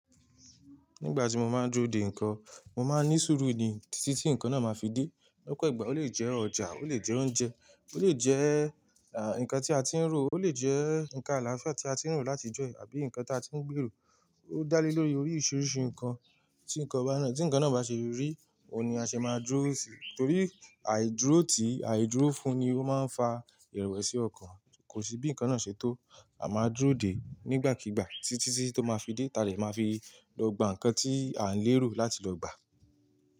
Nígbà tí mo máa ń dúró dè nnkan, mo máa ń ní sùúrù ni títí tí nǹkan náà máa fi dé. Lọ́pọ̀ ìgbà ó lè jẹ́ ọjà, ó lè jẹ́ oúnjẹ, ó lè jẹ́, à, nǹkan tí a ti ń rò, ó lè jẹ́ nǹkan àlàáfíà tí a ti ń rò látijọ́ yìí àbí nǹkan tí a ti ń gbèrò. Ó dá lé lórí oríṣìíríṣìí nǹkan tí nǹkan bá náà. Tí nǹkan náà bá ṣe rí, òun ni a ṣe máa dúró sì. Torí àìdúró tìí, àìdúró fún-un ni ó máa ń fa ìrẹ̀wẹ̀sì ọkàn. Kò sí bí nnkan náà ṣe tó, a máa dúró dè é nígbàkigbà títí tí tó máa fi dé. Ta lè máa fi lọ gba nnkan tí à ń lérò láti lọ gbà?